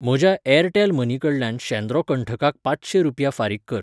म्हज्या Airtel money कडल्यान शेंद्रो कंठाकाक पांचशें रुपया फारीक कर.